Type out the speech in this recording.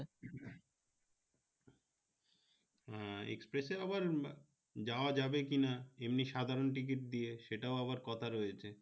হ্যাঁ express আবার যাওয়া যাবে কি না এমনি সাধারণ ticket দিয়ে সেটাও আবার কথা রয়েছে